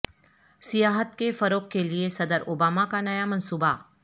سیاحت کے فروغ کےلیے صدر اوباما کا نیا منصوبہ